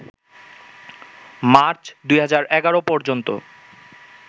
March ২০১১ পর্যন্ত